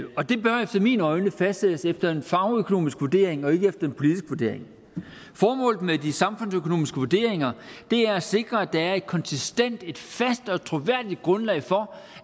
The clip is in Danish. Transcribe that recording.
mine øjne fastsættes efter en fagøkonomisk vurdering og ikke efter en politisk vurdering formålet med de samfundsøkonomiske vurderinger er at sikre at der er et konsistent fast og troværdigt grundlag for